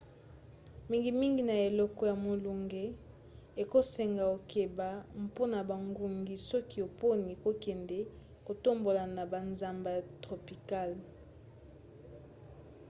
mingimingi na eleko ya molunge ekosenga okeba mpona bangungi soki oponi kokende kotambola na bazamba ya tropicale